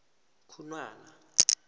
khunwana